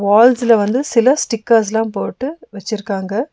வால்ஸ்ல வந்து சில ஸ்டிக்கர்ஸ்லா போட்டு வெச்சிருக்காங்க.